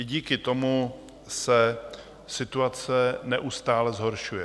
I díky tomu se situace neustále zhoršuje.